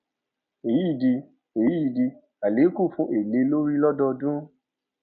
èyí di èyí di àlékún fún èlé lórí lódọọdún